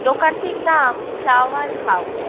দোকানটির নাম flower how--